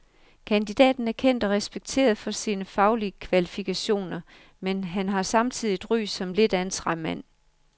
Kandidaten er kendt og respekteret for sine faglige kvalifikationer, men han har samtidig et ry som lidt af en træmand.